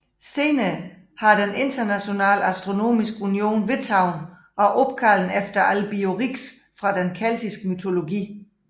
Senere har den Internationale Astronomiske Union vedtaget at opkalde den efter Albiorix fra den keltiske mytologi